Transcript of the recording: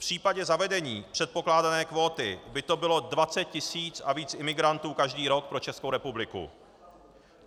V případě zavedení předpokládané kvóty by to bylo 20 tisíc a víc imigrantů každý rok pro Českou republiku.